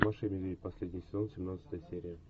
маша и медведь последний сезон семнадцатая серия